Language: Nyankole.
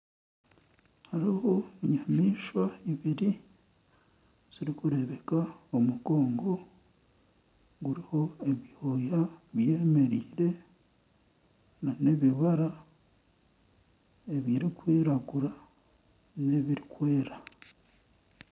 Hariho enyamaishwa ibiri zirikureebeka omugongo guriho ebyoya byemereire nana ebibara ebirikwiragura n'ebirikwera